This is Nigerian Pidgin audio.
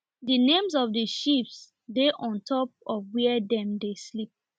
the names of the sheeps dey on top of where dem dey sleep